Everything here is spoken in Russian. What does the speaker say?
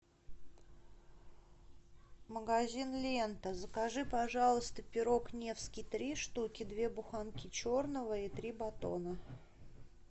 магазин лента закажи пожалуйста пирог невский три штуки две буханки черного и три батона